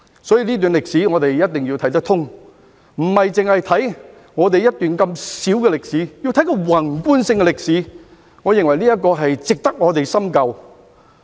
所以，這段歷史，我們一定要看得通，不單看我們這段如此小的歷史，而是看宏觀性的歷史，我認為這值得我們深究。